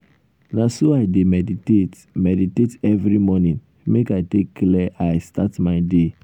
na so i dey meditate meditate every morning make i take clear eye start my day.